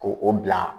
Ko o bila